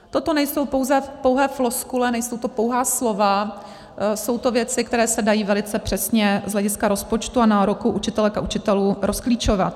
Toto nejsou pouze pouhé floskule, nejsou to pouhá slova, jsou to věci, které se dají velice přesně z hlediska rozpočtu a nároků učitelů a učitelek rozklíčovat.